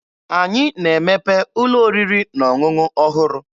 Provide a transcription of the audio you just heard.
Anyị na-emepe ụlọ oriri na ọṅụṅụ ọhụrụ.